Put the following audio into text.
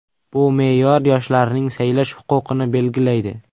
Bu me’yor yoshlarning saylash huquqini belgilaydi.